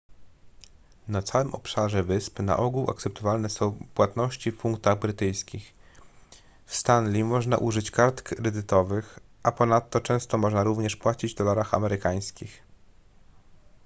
na całym obszarze wysp na ogół akceptowane są płatności w funtach brytyjskich w stanley można użyć kart kredytowych a ponadto często można również płacić w dolarach amerykańskich